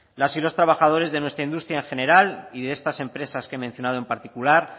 las y los trabajadores de nuestra industria en general y de estas empresas que he mencionado en particular